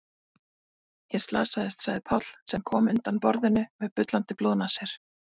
Ég slasaðist, sagði Páll sem kom undan borðinu með bullandi blóðnasir.